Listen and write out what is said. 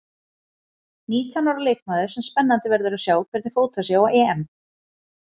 Nítján ára leikmaður sem spennandi verður að sjá hvernig fótar sig á EM.